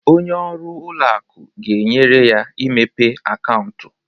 Onye ọrụ ụlọ akụ ga-enyere ya imepe akaụntụ.